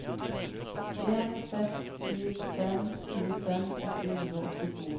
en seks sju fem tjuefem åtte hundre og åttito